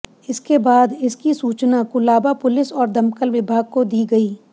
इसके बाद इसकी सूचना कुलाबा पुलिस और दमकल विभाग को दी गयी